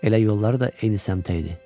Elə yolları da eyni səmtə idi.